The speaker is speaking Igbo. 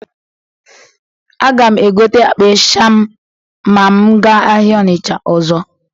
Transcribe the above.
Aga m egote akpa ịsha ma m gaa ahịa Ọnịcha ọzọ.